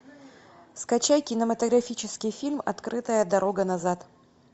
скачай кинематографический фильм открытая дорога назад